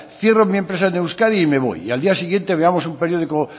cierro mi empresa en euskadi y me voy y al día siguiente veamos un periódico